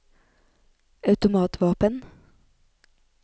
automatvåpen